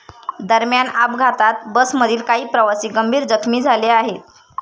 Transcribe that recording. दरम्यान अपघातात बसमधील काही प्रवासी गंभीर जखमी झाले आहेत.